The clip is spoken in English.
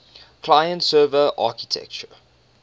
client server architecture